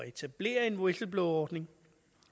etablere en whistleblowerordning